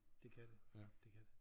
Det kan det det kan det